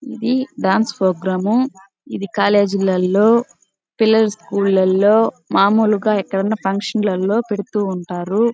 ఇది dance programme . ఇది college లలో పిల్లల స్కూల్ లలో మామూలుగా ఎక్కడైనా ఫంక్షన్ లలో పెడుతూ ఉంటారు.